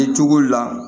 Kɛ cogo la